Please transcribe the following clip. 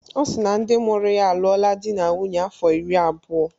Ọ si na ndị mụrụ ya alụọla di na nwunye afọ iri abụọ.